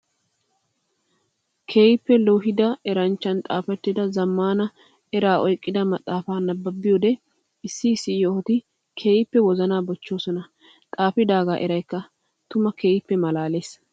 Keehippe loohidda eranchchan xaafettidda zamaana eraa oyqqidda maxafa nabbabiyoode issi issi yohotti keehippe wozana bochchosonna. Xaafidaaga eraykka tuma keehippe malaales.